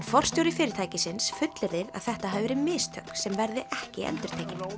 forstjóri fyrirtækisins fullyrðir að þetta hafi verið mistök sem verði ekki endurtekin